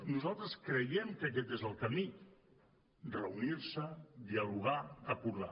nosaltres creiem que aquest és el camí reunir se dialogar acordar